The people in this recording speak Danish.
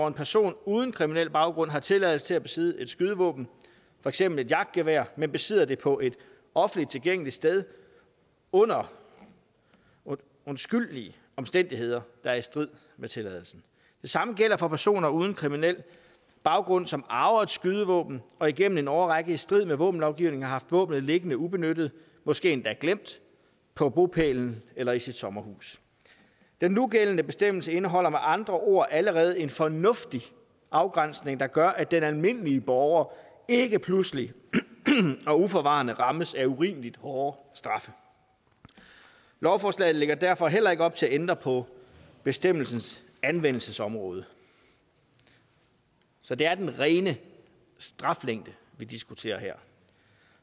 en person uden kriminel baggrund har tilladelse til at besidde et skydevåben for eksempel et jagtgevær men besidder det på et offentlig tilgængeligt sted under undskyldelige omstændigheder der er i strid med tilladelsen det samme gælder for personer uden kriminel baggrund som arver et skydevåben og igennem en årrække i strid med våbenlovgivningen har haft våbnet liggende ubenyttet måske endda glemt på bopælen eller i deres sommerhus den nugældende bestemmelse indeholder med andre ord allerede en fornuftig afgrænsning der gør at den almindelige borger ikke pludselig og uforvarende rammes af urimeligt hårde straffe lovforslaget lægger derfor heller ikke op til at ændre på bestemmelsens anvendelsesområde så det er den rene straflængde vi diskuterer her